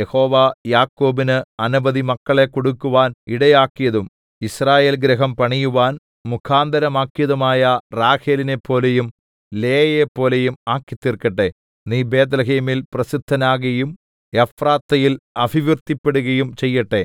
യഹോവ യാക്കോബിന് അനവധി മക്കളെ കൊടുക്കുവാന്‍ ഇടയാക്കിയതും യിസ്രയേൽ ഗൃഹം പണിയുവാന്‍ മുഖാന്തിരമാക്കിയതുമായ റാഹേലിനെപ്പോലെയും ലേയയെപ്പോലെയും ആക്കിതീര്‍ക്കട്ടെ നീ ബേത്ത്ലേഹേമിൽ പ്രസിദ്ധനാകയും എഫ്രാത്തയിൽ അഭിവൃദ്ധിപ്പെടുകയും ചെയ്യട്ടെ